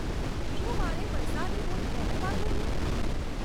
શું મારે વરસાદી બૂટ પહેરવાં જોઈએ